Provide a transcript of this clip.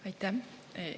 Aitäh!